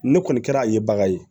Ne kɔni kɛra a ye baga ye